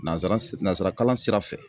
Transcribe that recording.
Nanzara si nazara kalan sira fɛ